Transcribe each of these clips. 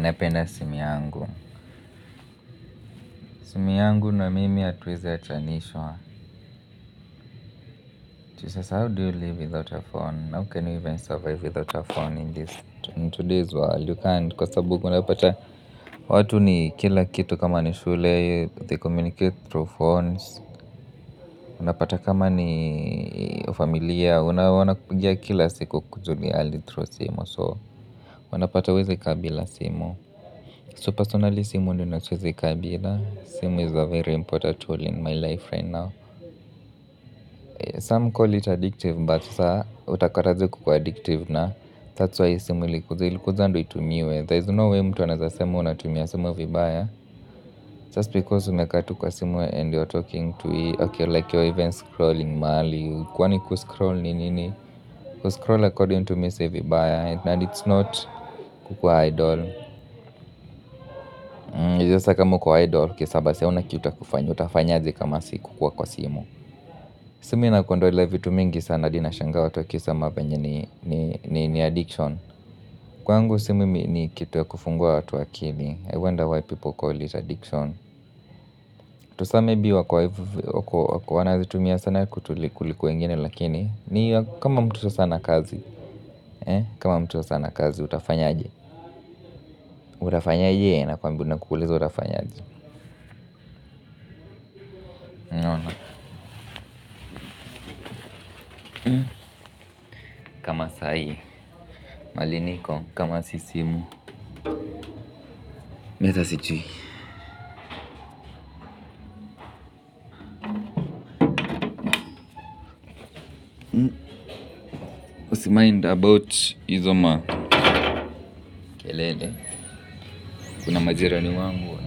Napenda simu yangu simu yangu na mimi hatuwezi achanishwa juusasa how do you live without a phone? How can we even survive without a phone in this? Today's world you can't. Kwa sababuunapata, watu ni kila kitu kama ni shule, they communicate through phones, unapata kama ni familia, wanakupigia kila siku kukujulia hali through simu. So, unapata huwezi kabila simu. So, personally, simu ndiyo nayosiwezi kabila. Simu is a very important tool in my life right now. Some call it addictive, but sasa utakataaje kukua addictive na that's why simu ilikuja ilikuja ndiyo itumiwe there is no way mtu anaweza sema unatumia simu vibaya just because umekaa tu kwa simu and your taking to like Okey your even scrolling mahali kwani kuscroll ni nini. Kuscroll according to mesi vibaya And it's not kukua idol juusasa kama uko idol, okeysawabasi haunakitu yakufanya. Utafanyaje kama siku kua kwa simu. Simu ina kuondolea vitu mingi sana hadi na shangaawa tuwa kise mavenye ni addiction. Kwa ngu simu ni kitu ya kufungua watu akili. I wonder why people call it addiction. Juu saa maybe wako wana zitu mia sana kutuliko kuliko wengine lakini. Ni kama mtu sasana kazi. Kama mtu sasana kazi utafanya aje. Utafanya aje na kuuliza utafanya aje. Unaona. Kamasaahi. Mahaliniko. Kama sisimu. Mimiata si jui. Usi mind about hizoma. Kelele, kuna majira ni wangu.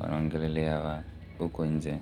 Wa na ongelelea huko nje.